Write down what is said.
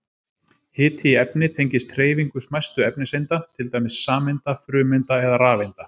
Hiti í efni tengist hreyfingu smæstu efniseinda, til dæmis sameinda, frumeinda eða rafeinda.